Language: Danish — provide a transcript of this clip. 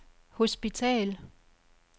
hospital